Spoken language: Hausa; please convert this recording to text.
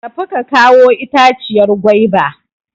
Tafi ka kawo itaciyar gwaiba!